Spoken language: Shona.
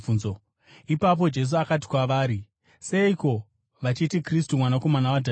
Ipapo Jesu akati kwavari, “Seiko vachiti Kristu Mwanakomana waDhavhidhi?